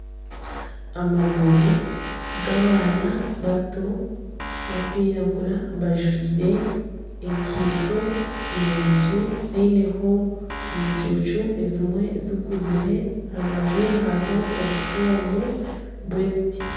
Amaguru g'abaana bato barikwiragura bajwaire enkaito nungi ziineho omucucu ezimwe zikuzire aha rubaju hariho obufomu bw'ebiti.